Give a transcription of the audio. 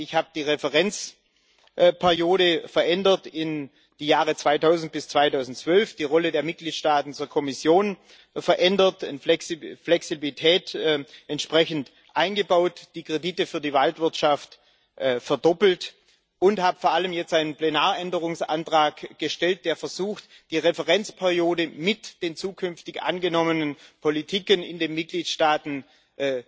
Ich habe die Referenzperiode in die Jahre 2000 bis 2012 verändert, die Rolle der Mitgliedstaaten zur Kommission verändert, Flexibilität entsprechend eingebaut, die Kredite für die Waldwirtschaft verdoppelt und jetzt vor allem einen Plenaränderungsantrag gestellt, der versucht, die Referenzperiode mit den zukünftigen angenommenen Politiken in den Mitgliedstaaten